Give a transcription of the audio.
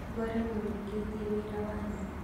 Ngore mũrĩkĩtie wĩra wanyu